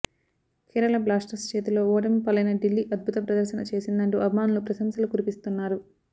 Kerala Blasters చేతిలో ఓటమి పాలైన ఢిల్లీ అద్భుత ప్రదర్శన చేసిందంటూ అభిమానులు ప్రశంసలు కురిపిస్తున్నారు